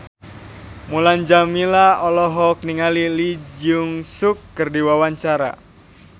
Mulan Jameela olohok ningali Lee Jeong Suk keur diwawancara